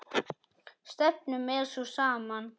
Stefnan er sú sama.